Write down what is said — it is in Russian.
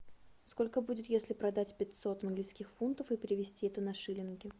сколько будет если продать пятьсот английских фунтов и перевести это на шиллинги